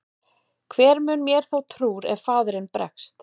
Hver mun mér þá trúr ef faðirinn bregst?